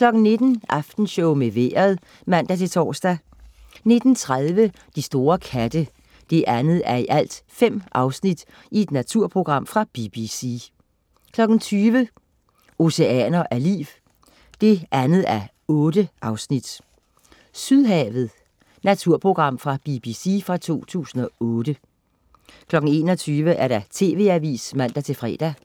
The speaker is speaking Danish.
19.00 Aftenshowet med Vejret (man-tors) 19.30 De store katte 2:5. Naturprogram fra BBC 20.00 Oceaner af liv 2:8. "Sydhavet". Naturprogram fra BBC fra 2008 21.00 TV AVISEN (man-fre)